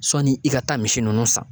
Sɔni i ka taa misi nunnu san.